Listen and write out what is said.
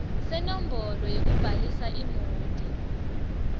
senombolo yekubhalisa imoti